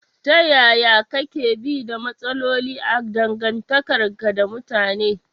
Ta yaya kake bi da matsaloli a dangantakarka da mutane?